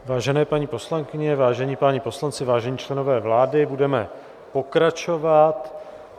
Vážené paní poslankyně, vážení páni poslanci, vážení členové vlády, budeme pokračovat.